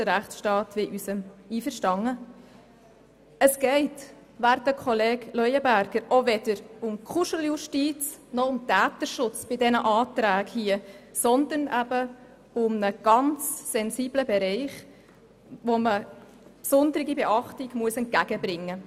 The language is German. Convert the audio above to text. Es geht bei den Anträgen hier – werter Kollege Leuenberger – auch weder um Kuscheljustiz noch um Täterschutz, sondern handelt sich um einen ganz sensiblen Bereich, dem man besondere Beachtung schenken muss.